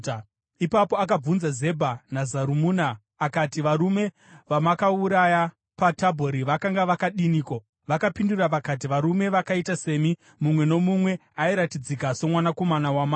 Ipapo akabvunza Zebha naZarumuna akati, “Varume vamakauraya paTabhori vakanga vakadiniko?” Vakapindura vakati, “Varume vakaita semi, mumwe nomumwe airatidzika somwanakomana wamambo.”